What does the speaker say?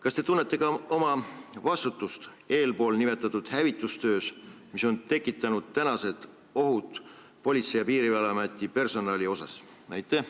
Kas te tunnete ka oma vastutust nimetatud hävitustöös, mis on tekitanud tänased ohud seoses Politsei- ja Piirivalveameti personaliga?